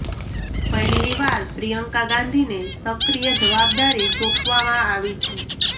પહેલી વાર પ્રિયંકા ગાંધીને સક્રીય જવાબદારી સોંપવામાં આવી છે